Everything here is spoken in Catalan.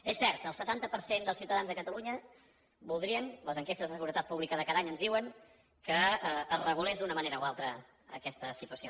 és cert el setanta per cent dels ciutadans de catalunya voldrien les enquestes de seguretat publicades cada any ens ho diuen que es regulés d’una manera o altra aquesta situació